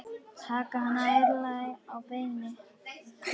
Taka hann ærlega á beinið.